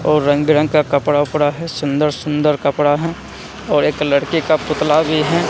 और रंग बिरंग का कपड़ा वपड़ा है सुंदर सुंदर कपड़ा है और एक लड़के का पुतला भी हैं।